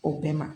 O bɛɛ ma